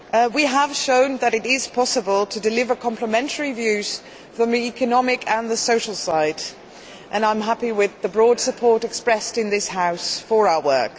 We have shown that it is possible to deliver complementary views from the economic and the social side, and I am happy with the broad support expressed in this House for our work.